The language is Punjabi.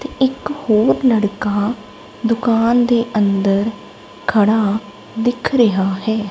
ਇਕ ਹੋਰ ਲੜਕਾ ਦੁਕਾਨ ਦੇ ਅੰਦਰ ਖੜਾ ਦੀਖ ਰਿਹਾ ਹੈ।